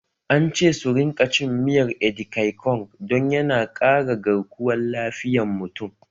An ce su rinka cin miyar edikaikong don yana ƙara garkuwan lafiyan mutum